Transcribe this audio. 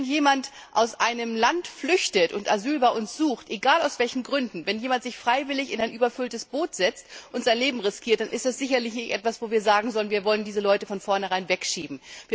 Wenn jemand aus einem Land flüchtet und Asyl bei uns sucht egal aus welchen Gründen wenn sich jemand freiwillig in ein überfülltes Boot setzt und sein Leben riskiert, so ist das sicherlich nichts, bei dem wir sagen können Wir wollen diese Leute von vornherein wegschieben.